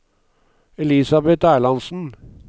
Elisabeth Erlandsen